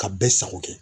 Ka bɛɛ sago kɛ